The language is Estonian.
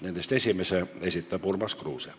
Nendest esimese esitab Urmas Kruuse.